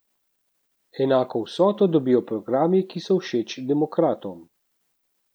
Enako vsoto dobijo programi, ki so všeč demokratom.